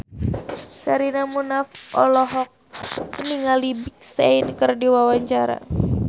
Sherina Munaf olohok ningali Big Sean keur diwawancara